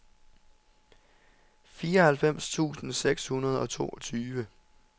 fireoghalvfems tusind seks hundrede og toogtyve